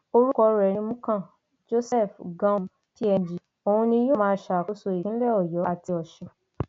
orúkọ rẹ ní múkan joseph göum png òun ni yóò máa ṣàkóso ìpínlẹ ọyọ àti ọsùn